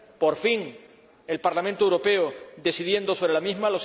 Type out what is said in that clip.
por fin, el Parlamento Europeo decidiendo sobre la misma.